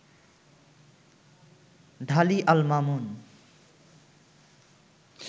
Dhali Al Mamun